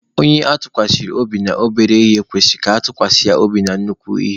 Onye atụkwasara obi na obere ihe kwesịrị ka atụkwasa ya obi na nnukwu ihe.